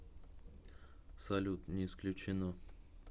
салют не исключено